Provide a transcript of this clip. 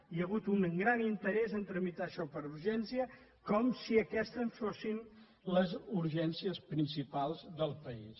hi ha hagut un gran interès a trami·tar això per urgència com si aquestes fossin les urgèn·cies principals del país